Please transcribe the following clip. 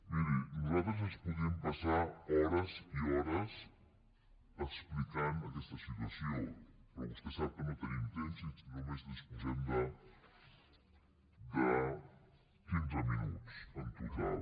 miri nosaltres ens podríem passar hores i hores explicant aquesta situació però vostè sap que no tenim temps i que només disposem de quinze minuts en total